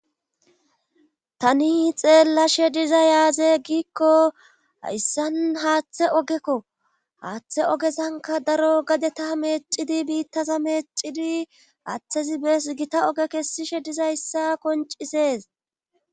tani xeellashe diza yaaze giikko hayssan haaththe ogekko haaththe ogesanka daro gade ta meecidi biittaza meecidi aaththezi bees gita oge kessishe dizayssa koncisees